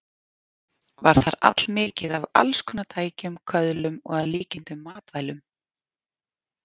Var þar allmikið af alls konar tækjum, köðlum og að líkindum matvælum.